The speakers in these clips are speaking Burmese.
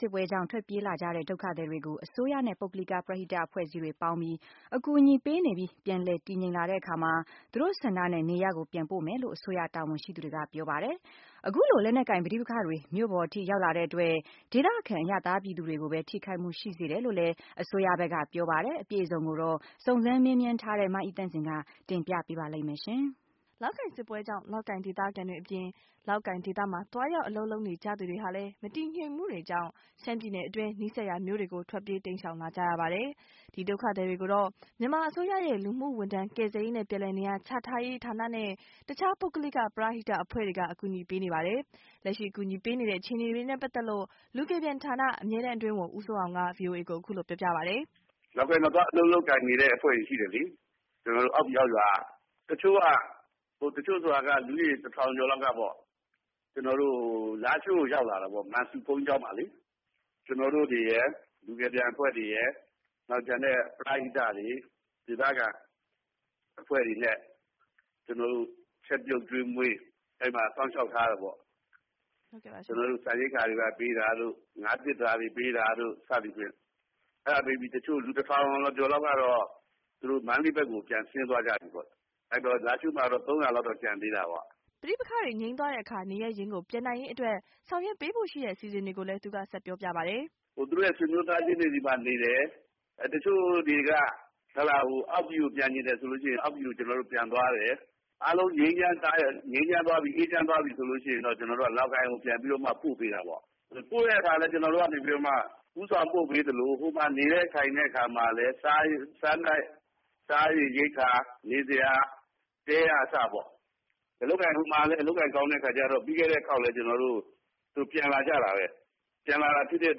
စစ်ပွဲကြောင့် ထွက်ပြေးလာကြတဲ့ ဒုက္ခသည်တွေကို အစိုးရနဲ့ ပုဂ္ဂလိက ပရဟိတအဖွဲ့အစည်းတွေ ပေါင်းပြီး အကူအညီပေးနေပြီး ၊ ပြန်လည် တည်ငြိမ်လာတဲ့အခါမှာ သူတို့ဆန္ဒနဲ့နေရပ်ကို ပြန်ပို့ပေးမယ်လို့ အစိုးရ တာဝန်ရှိသူတွေက ပြောပါတယ်။ အခုလို လက်နက်ကိုပဋိပက္ခတွေ မြို့ပေါ် အထိ ရောက်လာတဲ့အတွက် ဒေသခံအရပ်သားပြည်သူတွေကိုပဲ ထိခိုက် မှုဖြစ်စေ တယ်လို့ အစိုးရဘက်ကပြောပါတယ်။ စုံစမ်းမေးမြန်းထားတဲ့ မအိသန့်စင်က ပြောပြမှာပါ။ လောက်ကိုင်စစ်ပွဲကြောင့် လောက်ကိုင်ဒေသခံတွေအပြင် လောက်ကိုင်ဒေသမှာ သွားရောက်အလုပ်လုပ်နေကြသူတွေဟာလည်း မတည်ငြိမ်မှုတွေကြောင့် ရှမ်းပြည်နယ်အတွင်း နီးစပ်ရာမြို့တွေကို ထွက်ပြေးတိမ်းရှောင်လာကြရပါတယ်။ ဒီ ဒုက္ခသည်တွေကိုတော့ မြန်မာအစိုးရရဲ့ လူမှုဝန်ထမ်း ကယ်ဆယ်ရေးနဲ့ ပြန်လည်နေရာ ချထားရေး နဲ့ အခြားပုဂ္ဂလိက ပရဟိတအဖွဲ့တွေက အကူအညီပေးနေရပါတယ်။ လက်ရှိအကူအညီပေးနေတဲ့အခြေအနေနဲ့ပတ်သက်လို့ လူကယ်ပြန်ဌာန အမြဲတမ်းအတွင်းဝန် ဦးစိုးအောင်က ဗွီအိုအေကို အခုလို ပြောပါတယ်။ “လောက်ကိုင်မှာ သွားပြီးတော့ အလုပ်လုပ်ကိုင်နေတဲ့အဖွဲ့တွေရှိတယ်လေ။ ကျနော်တို့ အောက်ပြည်အောက်ရွာက၊ တချို့က လူဦးရေ ၁၀၀၀ ကျော်လောက်က လားရှိုးကိုရောက်လာတာပေါ့ မန်ဆူဘုန်းကြီးကျောင်းမှာလေ။ ကျနော်တို့တွေရယ် လူကယ်ပြန်အဖွဲ့တွေရယ် ၊ နောက်ကျန်တဲ့ ပရဟိတတွေ ဒေသခံအဖွဲ့တွေနဲ့ ကျနော်တို့ ချက်ပြုတ်ကျွေးမွေး အဲဒီမှာ စောင့်ရှောက်ထားတယ်ပေါ့။ ကျနော်တို့ ဆန်ရိက္ခာတွေပေး တာတို့ ငါးသတ္တာတွေပေးတာတို့ အဲဒါတွေပေးပြီး လူ ၁၀၀၀ ကျော်လောက်ကတော့ မန္တလေးဘက်ကို ပြန်ဆင်းသွားမိတာပေါ့။ အဲဒီတော့ လားရှိုးမှာတော့ ၃၀၀ လောက်တော့ ကျန်သေးတာပေါ့။” ပဋိပက္ခတွေ ငြိမ်းသွားတဲ့အခါ နေရပ်ရင်းကို ပြန်နိုင်ရေးအတွက် ဆောင်ရွက်ပေးဖို့ရှိတဲ့အစီအစဉ်ကိုလည်း သူက ဆက်ပြောပါတယ် “သူတို့ဆွေမျိုးသားချင်းတွေမှာနေတယ်။ တချို့တွေက အောက်ပြည်ကိုပြန်ချင်တယ်ဆိုရင် ကျနော်တို့ အောက်ပြည်ကို ပြန်သွားတယ်။ အားလုံးအေးချမ်းသွားပြီ ငြိမ်းချမ်းသွားပြီဆိုရင် ကျနော်တို့က လောက်ကိုင်ကို ပြန်ပြီးတော့ ပို့ပေးတာပေါ့။ အဲဒီလို ပို့တဲ့အခါမှာလည်း ကျနော်တို့က အဲဒီလို ဦးဆောင်ပြီး ပို့ပေးသလို ဟိုမှာ နေတဲ့ထိုင်တဲ့အခါမှာလည်း စားဖို့ရိက္ခာ၊ နေစရာ တဲ ကအစပေါ့ ။ အလုပ်ကိုင်က ဟိုမှာ ကောင်းတော့ ပြီးခဲ့တဲ့အခေါက်မှာလည်း ပြန်လာကြတာပဲ၊ ပြန်လာတာဖြစ်တဲ့အ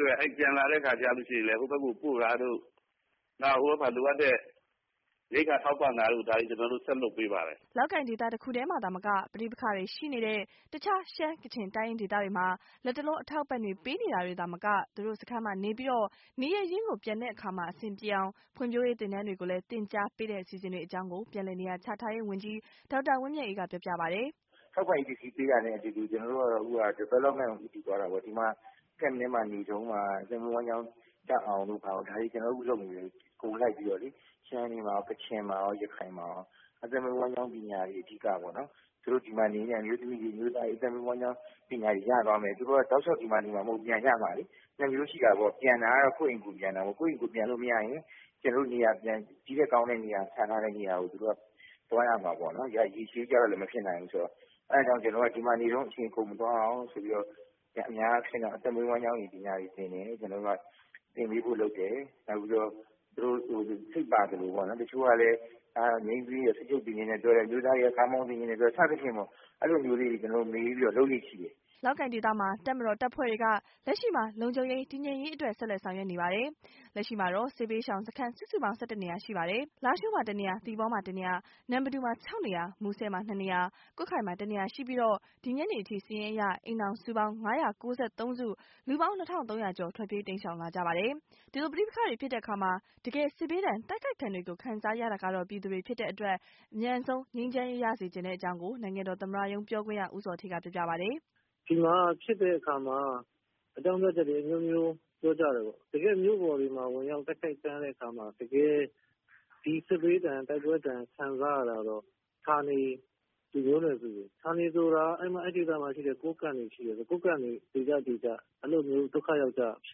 တွက် အဲဒီပြန်လာတဲ့အခါဆိုရင်လည်း ပြန်ပို့တာတို့ ဟိုဘက်မှာလိုအပ်တာတွေ ရိက္ခာတွေထောက်ပံ့တာတို့ ဆက်လုပ်ပေးပါတယ်။” လောက်ကိုင်ဒေသတစ်ခုတည်းမှာသာမက ပဋိပက္ခတွေ ရှိနေတဲ့တခြား ရှမ်း၊ ကချင်၊ တိုင်းရင်းဒေသတွေမှာ လက်တလော အထောက်အပံ့တွေပေးတာသာမက သူတို့စခန်း မှာနေပြီး နေရပ်ရင်းကို ပြန်တဲ့အခါ အဆင်ပြေအောင် ဖွံ့ဖြိုးရေးသင်တန်းတွေကိုလည်း သင်ကြားပေးတဲ့အစီအစဉ်တွေအကြောင်းကို ပြန်လည်နေရာချထားရေးဝန်ကြီး ဒေါက်တာဝင်းမြတ်အေးက ပြောပြပါတယ်။ “ထောက်ပံ့ရေးပစ္စည်းပေးတာနဲ့အတူတူကျနော်တို့က Development ကို ဦးတည် သွားတာပေါ့နော် ဒီမှာ camp ထဲမှာနေတုန်းမှာ အသက်မွေးဝမ်းကျောင်း တတ်သွားအောင်လို့ ကျနော်တို့ အခုလုပ်နေတယ်။ ရှမ်းတွေမှာရော၊ ကချင်မှာရော၊ ရခိုင်မှာရော အသက်မွေးဝမ်းကျောင်း ပညာတွေအဓိကပေါ့နော် ၊ သူတို့ဒီမှာနေရင်းနဲ့ အသက်မွေးဝမ်းကျောင်း ပညာတွေရသွားမယ် ။ သူတို့က တောက်လျောက်ဒီမှာနေမှာမဟုတ်ဘူး ပြန်ကြမယ်လေ။ ပြန်တာကတော့ ကိုယ့်အိမ်ကို ကိုယ်ပြန်တာပေါ့၊ ကိုယ့်အိမ်ကိုပြန်လို့မရရင် ကျနော်တို့ နေရာ ပြန်ချထားတဲ့နေရာကို သူတို့သွားရမှာပေါ့နော် ၊ ဒီလိုရေရှည်ကျတော့ မဖြစ်နိုင်ဘူးဆိုတော့ အဲဒီတော့ ကျနော်က ဒီမှာနေတုန်း အချိန်မကုန် သွားအောင် ဆိုပြီးတော့ အသက်မွေးဝမ်းကျောင်း ပညာတွေ သင်ပေးဖို့လုပ်တယ်။ နောက်ပြီးတော့ သူတို့ စိတ်ပါသလိုပေါ့နော်၊ တချို့အမျိုးသမီးတွေက စက်ချုပ်သင်ချင်တယ်ပြောတယ်၊ တချို့အမျိုးသားတွေတော့ ကားမောင်းသင်ချင်တယ်လို့ပြောတယ် အဲဒါမျိုးတွေမေးပြီးတော့ ကျနော်တို့ လုပ်လေ့ရှိတယ်။” လောက်ကိုင်ဒေသမှာ တပ်မတော်တပ်ဖွဲ့တွေက လက်ရှိမှာ လုံခြုံရေး တည်ငြိမ်ရေး အတွက် ဆက်လက်ဆောင်ရွက်နေ ပါတယ်။ လက်ရှိမှာ စစ်ဘေးရှောင်စခန်း စုစုပေါင်း ၁၁ နေရာ ရှိပါတယ်။ လားရှိုး၊ သီပေါ၊ နမ်ပတူမှာ ၆နေရာ၊ မူဆယ် ၂ နေရာ၊ ကွတ်ခိုင်မှာ ၁ နေရာ ရှိပြီးတော့ ဒီညနေအထိ စာရင်းအရ အိမ်ထောင်စုပေါင်း ၅၉၃ စု လူပေါင်း ၂၃၀၀ ကျော် ထွက်ပြေးတိမ်းရှောင်လာပါတယ်။ ဒီလိုပဋိပက္ခတွေ ဖြစ်တဲ့အခါ တကယ်စစ်ဘေးဒဏ် တိုက်ခိုက်ဒဏ်တွေကို ခံစားရတာက ပြည်သူတွေဖြစ်တဲ့အတွက် အမြန်ဆုံးငြိမ်းချမ်းစေချင်တယ်လို့ နိုင်ငံတော်သမ္မတရုံးပြောခွင့်ရ ဦးဇော်ဌေးက ပြောပါ တယ်။ “ဒီမှာ ဖြစ်တဲ့အခါမှာ အကြောင်းပြချက်တွေ အမျိုးမျိုးပြောကြတယ်ပေါ့နော် ၊ တကယ့် မြို့ပေါ်တွေမှာ ဝင်ရောက်တိုက်ခိုက်တဲ့အခါမှာ တကယ်စစ်ဘေးဒဏ်ခံစားရတာကတော့ ဌာနေ မျိုးနွယ်စုတွေ။ ဌာနေဆိုတာက အဲဒီဒေသမှာရှိတဲ့ ကိုးကန့်တွေ နေတဲ့ဒေသ အဲလိုမျိုး ဒုက္ခရောက်ကြတာဖြ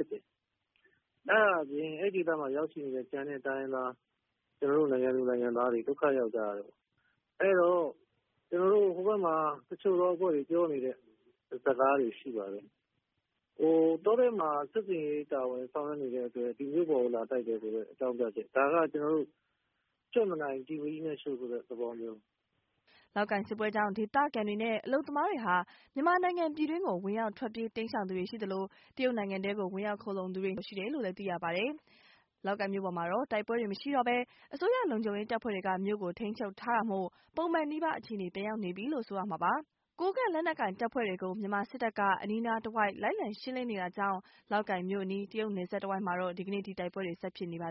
စ်တယ်။ အဲဒါအပြင် အဲဒီဒေသမှာရောက်နေတဲ့ ကျန်တဲ့တိုင်းရင်းသား ကျနော်တို့ နိုင်ငံသူနိုင်ငံသားတွေ ဒုက္ခရောက်ကြတယ်ပေါ့နော် ၊ အဲဒီတော့ ဟိုဘက်မှာ တချို့အဖွဲ့တွေပြောနေတဲ့ စကားတွေရှိပါတယ်။ တောထဲမှာ စစ်ဆင်ရေးဆောင်ရွက်နေတဲ့ အတွက် ဒီမြို့ပေါ်မှာလာတိုက်တယ်ဆိုတဲ့ အကြောင်းပြချက်။ ဒါက ကျနော်တို့ ‘ကြွက်မနိုင် ကျီမီးနဲ့ရှို့’ဆိုတဲ့သဘောမျိုး။” လောက်ကိုင်စစ်ပွဲကြောင့် ဒေသခံတွေနဲ့ အလုပ်သမားတွေဟာ မြန်မာနိုင်ငံပြည်တွင်းကို ဝင်ရောက်ထွက်ပြေးတိမ်းရှောင်သူတွေရှိသလို၊ တရုတ်နိုင်ငံထဲကို ဝင်ရောက် ခိုလှုံသူတွေရှိတယ်လို့ သိရပါတယ်။ လောက်ကိုင်မြို့ပေါ်မှာတော့ တိုက်ပွဲတွေ မရှိတော့ပဲ၊ အစိုးရ လုံခြုံရေးတပ်ဖွဲ့တွေက မြို့ကို ထိန်းချုပ်ထားတာမို့ ပုံမှန်နီးပါး အခြေအနေပြန်ရောက်နေပြီ လို့ ဆိုရမှာပါ။ ဒါပေမယ့် ကိုးကန့်လက်နက်ကိုင်တပ်ဖွဲ့တွေ ကို မြန်မာစစ်တပ်က အနီးအနားတဝိုက် လိုက်လံ ရှင်းလင်းနေတာကြောင့် လောက်ကိုင်မြို့အနီး တရုတ်နယ်စပ်တဝိုက်မှာတော့ ဒီနေ့အထိ တိုက်ပွဲတွေ ဆက်ဖြစ်နေပါ